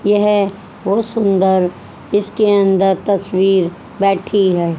यह बहुत सुंदर इसके अंदर तस्वीर बैठी है।